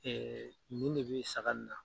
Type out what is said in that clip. nin de bɛ saga in na.